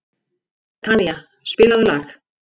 Tanía, spilaðu lag.